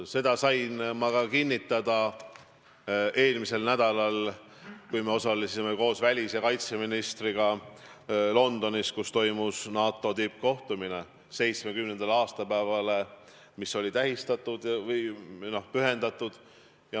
Seda sain ma kinnitada ka eelmisel nädalal, kui me osalesime koos välis- ja kaitseministriga Londonis toimunud NATO tippkohtumisel, mis oli pühendatud organisatsiooni 70. aastapäevale.